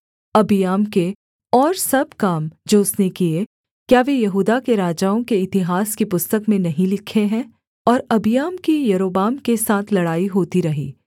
अबिय्याम के और सब काम जो उसने किए क्या वे यहूदा के राजाओं के इतिहास की पुस्तक में नहीं लिखे हैं और अबिय्याम की यारोबाम के साथ लड़ाई होती रही